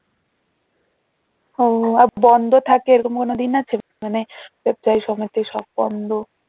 ও বন্ধ থাকে এরকম কোনো দিন আছে? মানে সব বন্ধ